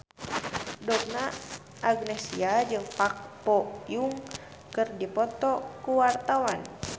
Donna Agnesia jeung Park Bo Yung keur dipoto ku wartawan